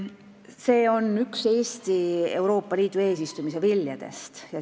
See on üks Eesti Euroopa Liidu eesistumise viljadest.